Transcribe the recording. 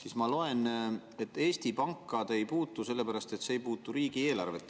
Aga ma loen, et Eesti Panka te ei puutu, sellepärast et see ei puuduta riigieelarvet.